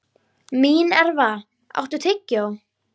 Mínerva, áttu tyggjó?